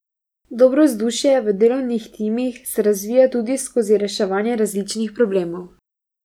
Dobro vzdušje v delovnih timih se razvija tudi skozi reševanje različnih problemov.